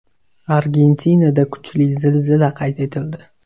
Argentinada kuchli zilzila qayd etildi.